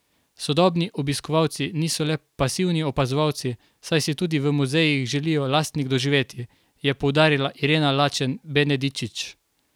Sodobni obiskovalci niso le pasivni opazovalci, saj si tudi v muzejih želijo lastnih doživetij, je poudarila Irena Lačen Benedičič.